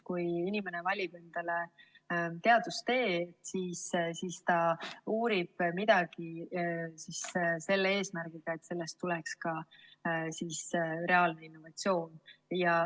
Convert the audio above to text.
Kui inimene valib endale teadustee, siis ta uurib midagi selle eesmärgiga, et sellest tuleneks ka reaalne innovatsioon.